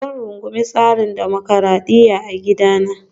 Zan rungumi tsarin dimokuradiyya a gidana